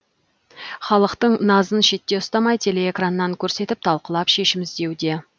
халықтың назын шетте ұстамай телеэкраннан көрсетіп талқылап шешім іздеуде